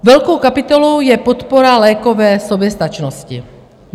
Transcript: Velkou kapitolou je podpora lékové soběstačnosti.